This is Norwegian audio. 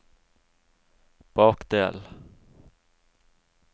bakdel